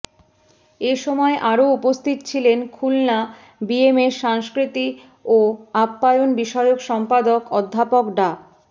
এ সময় আরও উপস্থিত ছিলেন খুলনা বিএমএর সাংস্কৃতি ও আপ্যায়ন বিষয়ক সম্পাদক অধ্যাপক ডা